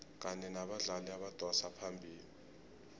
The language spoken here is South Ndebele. kanye nabadlali abadosa phambili